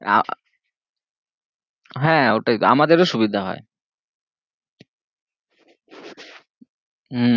হ্যাঁ ওটাই তো আমাদের ও সুবিদা হয়ে হম ওটাই